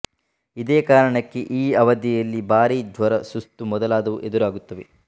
ಇದೇ ಕಾರಣಕ್ಕೆ ಈ ಅವಧಿಯಲ್ಲಿ ಭಾರೀ ಜ್ವರ ಸುಸ್ತು ಮೊದಲಾದವು ಎದುರಾಗುತ್ತವೆ